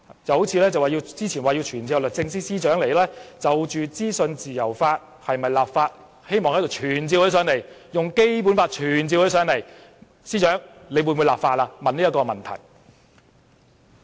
正如他們早前說是否要就資訊自由立法，希望引用《基本法》傳召律政司司長來立法會，問她的意見。